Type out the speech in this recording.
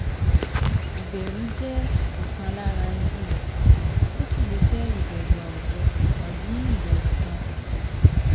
Ìbẹ̀rù jẹ́ ọ̀kan lára irú rẹ̀, ó sì lè jẹ́ ìbẹ̀rù àwùjọ tàbí ìbẹ̀rù kan pàtó